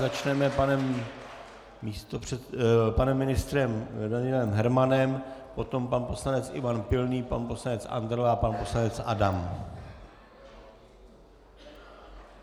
Začneme panem ministrem Danielem Hermanem, potom pan poslanec Ivan Pilný, pan poslanec Andrle a pan poslanec Adam.